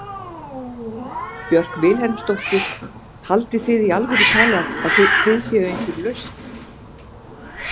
Björk Vilhelmsdóttir: Haldið þið í alvöru talað að þið séuð einhver lausn?